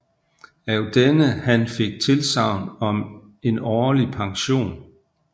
Af denne han fik tilsagn om en årlig pension